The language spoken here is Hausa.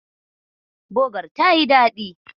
Bogar tayi daɗi.